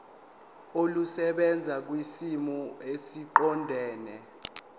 olusebenza kwisimo esiqondena